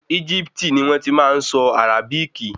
Egipti ni wọ́n ti máa nsọ Àràbíkì